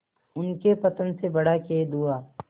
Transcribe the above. उनके पतन से बड़ा खेद हुआ